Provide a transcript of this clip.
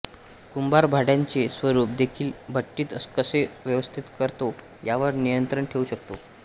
कुंभार भांड्यांचे स्वरूप देखील भट्टीत कसे व्यवस्थित करतो यावर नियंत्रण ठेवू शकतो